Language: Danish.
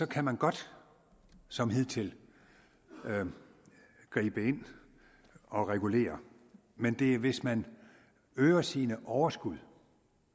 kan man godt som hidtil gribe ind og regulere men det er hvis man øger sine overskud